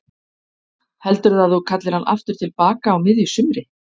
Heldurðu að þú kallir hann aftur til baka á miðju sumri?